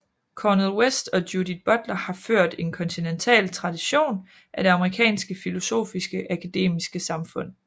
Cornel West og Judith Butler har ført en kontinental tradition i af det amerikanske filosofiske akademiske samfund